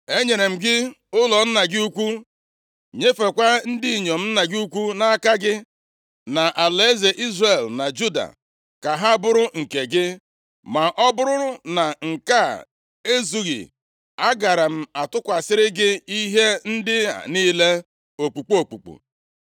Enyere m gị ụlọ nna gị ukwu, nyefekwa ndị inyom nna gị ukwu nʼaka gị, na alaeze Izrel na Juda, ka ha bụrụ nke gị. Ma ọ bụrụ na nke a ezughị, agaara m atụkwasịrị gị ihe ndị a niile okpukpu okpukpu.